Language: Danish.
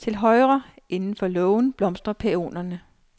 Til højre inden for lågen blomstrer pæonerne.